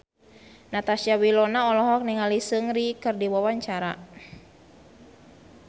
Natasha Wilona olohok ningali Seungri keur diwawancara